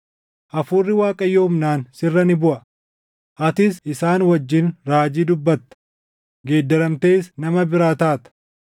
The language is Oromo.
Hafuurri Waaqayyoo humnaan sirra ni buʼa; atis isaan wajjin raajii dubbatta; geeddaramtees nama biraa taata.